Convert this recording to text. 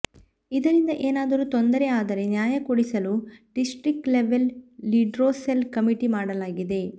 ಇದರಿಂದ ಏನಾದರು ತೊಂದರೆ ಆದರೆ ನ್ಯಾಯ ಕೊಡಿಸಲು ಡಿಸ್ಟ್ರಿಕ್ಟ್ ಲೆವೆಲ್ ಲಿಡ್ರೊಸೆಲ್ ಕಮಿಟಿ ಮಾಡಲಾಗಿದೆ